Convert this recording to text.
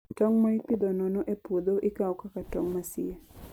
Tong' ma ipidho nono e puodho ikawo kaka tong' masie.